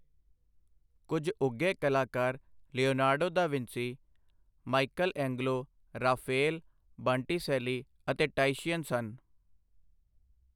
ਕੁੱਝ ਉੱਘੇ ਕਲਾਕਾਰ Leonardo da Vinci Michelangelo Raphael Botticelli ਅੇਤ ਟਾਇਸ਼ੀਅਨ ਸਨ।